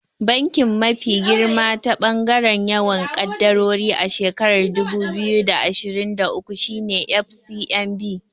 Banki mafi girma ta ɓangaren yawan kadarori a shekarar dubu biyu da ashirin da uku shine FCMB.